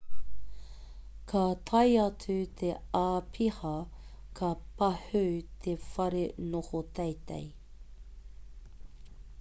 ka tae atu te āpiha ka pahū te whare noho teitei